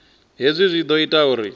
hezwi zwi ḓo ita uri